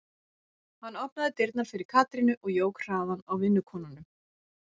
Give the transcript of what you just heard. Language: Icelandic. Hann opnaði dyrnar fyrir Katrínu og jók hraðann á vinnukonunum.